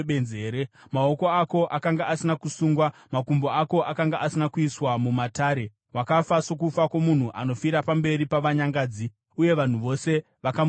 Maoko ako akanga asina kusungwa, makumbo ako akanga asina kuiswa mumatare. Wakafa sokufa kwomunhu anofira pamberi pavanyangadzi.” Uye vanhu vose vakamuchemazve.